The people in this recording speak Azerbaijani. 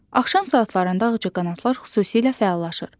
Axşam saatlarında ağcaqanadlar xüsusilə fəallaşır.